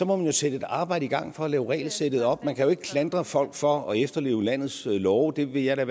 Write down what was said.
må man jo sætte et arbejde i gang for at lave regelsættet om man kan jo ikke klandre folk for at efterleve landets love det vil jeg da